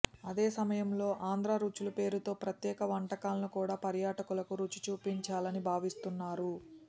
అదేసమయంలో ఆంధ్రా రుచులు పేరుతో ప్రత్యేక వంటకాలను కూడా పర్యాటకులకు రుచి చూపించాలని భావిస్తున్నారు